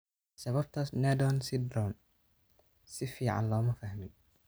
Sababta Sneddon syndrome si fiican looma fahmin.